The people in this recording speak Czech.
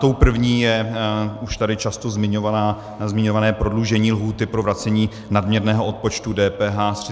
Tou první je už tady často zmiňované prodloužení lhůty pro vracení nadměrného odpočtu DPH ze 30 na 45 dní.